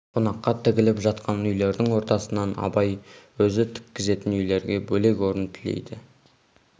қонаққа тігіліп жатқан үйлердің ортасынан абай өзі тіккізетін үйлерге бөлек орын тілейді